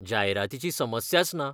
जायरातीची समस्याच ना.